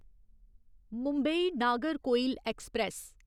Mumbai Nagercoil express